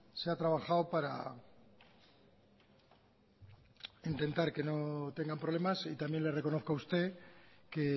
se ha trabajado para intentar que no tengan problemas y también le reconozco a usted que